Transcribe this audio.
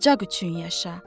bu ocaq üçün yaşa.